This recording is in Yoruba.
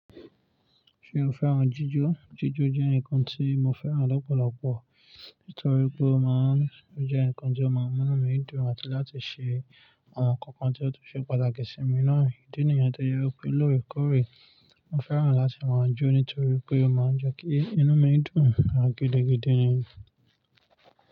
Ṣé o fẹ́ràn jíjọ? Jíjọ jẹ́ nǹkan tí mo fẹ́ràn lọ́pọ̀lọpọ̀ nítorí pé ó máa ń Ó jẹ́ nǹkan tí ó máa ń mú inu mi dùn àti láti ṣe àwọn nǹkan kan tí ó tun ṣe pàtàkì sí mi náà. Ídí niyen tó jẹ wipé lóorekóòrè, mo fẹ́ràn láti máa jó nítorí pé ó máa ń jẹ́ kí inú mi dùn gidi gidi.